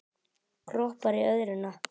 Kroppar í örðuna.